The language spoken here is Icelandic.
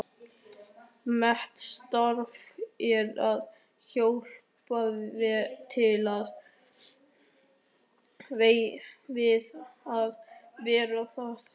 Mitt starf er að hjálpa til við að varðveita það.